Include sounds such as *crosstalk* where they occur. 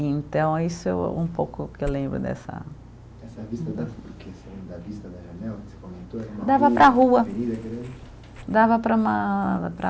Então, isso é um pouco o que eu lembro dessa Essa vista *unintelligible* da vista da janela que você comentou. *unintelligible* Dava para a rua. *unintelligible* Dava para uma para